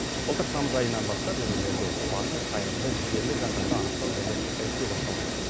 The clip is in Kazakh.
былтыр тамыз айынан бастап өңірлерде батыл қайырымды жігерлі жандарды анықтау және іріктеу басталған еді